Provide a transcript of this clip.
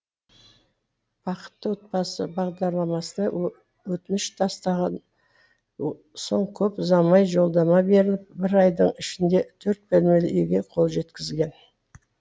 бақытты отбасы бағдарламасына өтініш тастаған соң көп ұзамай жолдама беріліп бір айдың ішінде төрт бөлмелі үйге қол жеткізген